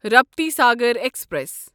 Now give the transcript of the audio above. Raptisagar express